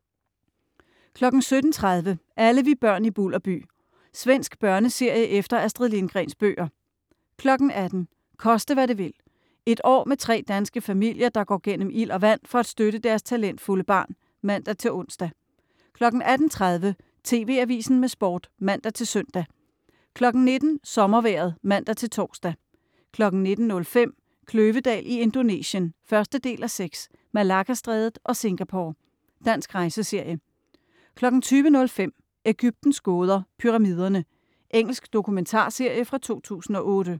17.30 Alle vi børn i Bulderby. Svensk børneserie efter Astrid Lindgrens bøger 18.00 Koste hvad det vil. Et år med tre danske familier, der går gennem ild og vand for at støtte deres talentfulde barn (man-ons) 18.30 TV Avisen med Sport (man-søn) 19.00 Sommervejret (man-tors) 19.05 Kløvedal i Indonesien 1:6, Malaccastrædet og Singapore. Dansk rejseserie 20.05 Ægyptens gåder, Pyramiderne. Engelsk dokumentarserie fra 2008